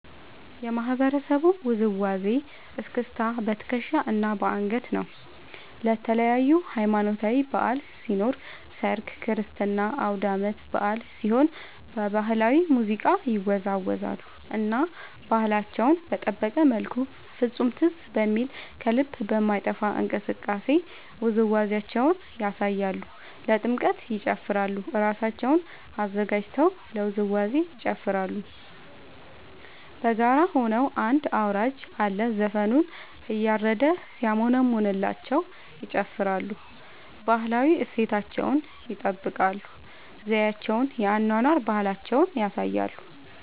የማህበረሰቡ ውዝዋዜ እስክስታ በትከሻ እና በአንገት ነው። ለተለያዪ ሀማኖታዊ በዐል ሲኖር ሰርግ ክርስትና አውዳመት በአል ሲሆን በባህላዊ ሙዚቃ ይወዛወዛሉ እና ባህላቸውን በጠበቀ መልኩ ፍፁም ትዝ በሚል ከልብ በማይጠፍ እንቅስቃሴ ውዝዋዜያቸውን ያሳያሉ። ለጥምቀት ይጨፉራሉ እራሳቸውን አዘጋጅተው ለውዝዋዜ ይጨፋራሉ በጋራ ሆነው አንድ አውራጅ አለ ዘፈኑን እያረደ ሲያሞነምንላቸው ይጨፍራሉ። ባህላዊ እሴታቸውን ይጠብቃል ዘዪቸውን የአኗኗር ባህላቸውን ያሳያሉ።